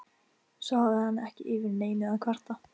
Svo hafði hann ekki yfir neinu að kvarta.